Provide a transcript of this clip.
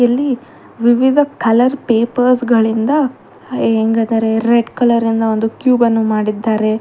ಇಲ್ಲಿ ವಿವಿಧ colour papers ಗಳಿಂದ ಹ ಹೆಂಗದರೆ ರೆಡ್ ಕಲರಿಂದ ಒಂದು ಕ್ಯೂಬ ಅನ್ನು ಮಾಡಿದ್ದಾರೆ.